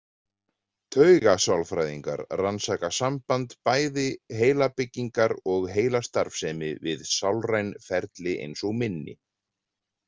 Taugasálfræðingar rannsaka samband bæði heilabyggingar og heilastarfsemi við sálræn ferli eins og minni.